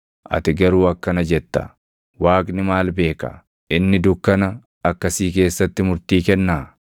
Ati garuu akkana jetta; ‘Waaqni maal beeka? Inni dukkana akkasii keessatti murtii kennaa?